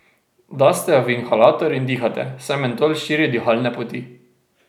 Daste jo v inhalator in dihate, saj mentol širi dihalne poti.